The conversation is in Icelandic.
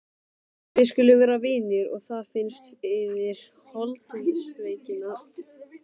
Við skulum vera vinir og það fyrnist yfir holdsveikina.